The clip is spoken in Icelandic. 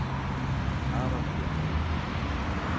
Aðalbjörg